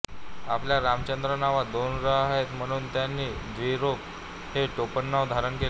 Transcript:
आपल्या रामचंद्र नावात दोन र आहेत म्हणून त्यांनी द्विरेफ हे टोपणनाव धारण केले